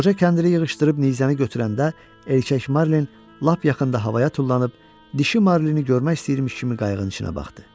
Qoca kəndirli yığışdırıb nizəni götürəndə erkək Marlin lap yaxında havaya tullanıb dişi Marlini görmək istəyirmiş kimi qayığın içinə baxdı.